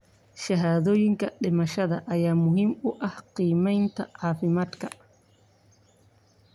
Shahaadooyinka dhimashada ayaa muhiim u ah qiimeynta caafimaadka.